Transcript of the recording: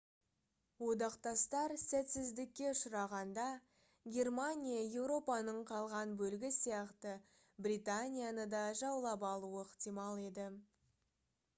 одақтастар сәтсіздікке ұшырағанда германия еуропаның қалған бөлігі сияқты британияны да жаулап алуы ықтимал еді